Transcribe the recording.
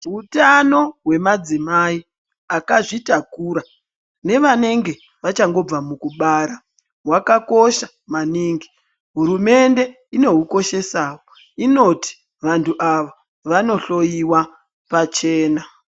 Hutano hwemadzimai akazvitakura nevanenge vachangobva mukubara hwakakosha maningi. Hurumende inohukoshesa inoti vantu ava vanohloiwa pachena